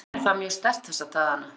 Skynjar það mjög sterkt þessa dagana?